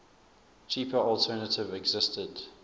cheaper alternative existed